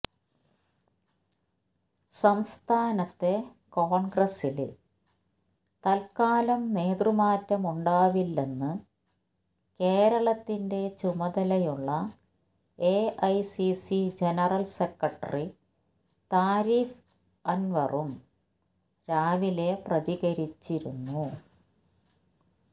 സംസ്ഥാനത്തെ കോണ്ഗ്രസില് തല്ക്കാലം നേതൃമാറ്റമുണ്ടാവില്ലെന്ന് കേരളത്തിന്റെ ചുമതലയുള്ള എഐസിസി ജനറല് സെക്രട്ടറി താരിഖ് അന്വറും രാവിലെ പ്രതികരിച്ചിരുന്നു